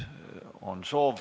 On soovi.